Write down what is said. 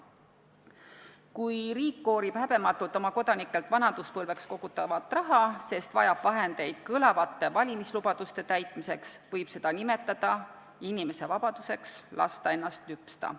Kui riik koorib häbematult oma kodanikelt vanaduspõlveks kogutavat raha, sest vajab vahendeid kõlavate valimislubaduste täitmiseks, võib seda nimetada inimese vabaduseks lasta ennast lüpsta.